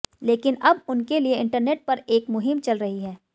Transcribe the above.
लेकिन अब उनके लिए इंटरनेट पर एक मुहिम चल रही है